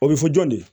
O bɛ fɔ jɔn de ye